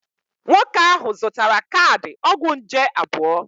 Nwoke ahụ zụtara kaadị ọgwụ nje abụọ.